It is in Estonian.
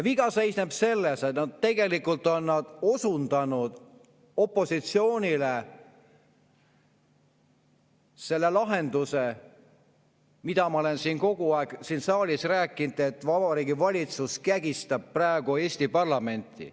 Viga seisneb selles, et nad tegelikult on osundanud opositsioonile selle lahenduse, mida ma olen kogu aeg siin saalis rääkinud, et Vabariigi Valitsus kägistab praegu Eesti parlamenti.